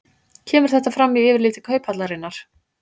Kemur þetta fram í yfirliti Kauphallarinnar